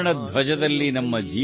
ಉತ್ತರ್ ಮೇ ಕೈಲಾಶ್ ಬಲವಾನ್ ಹೈ